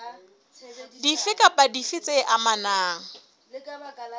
dife kapa dife tse amanang